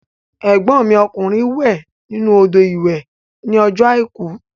Ẹ̀gbọ́n mi ọkùnrin wẹ̀ nínú odò ìwẹ̀ ní ọjọ́ àìkú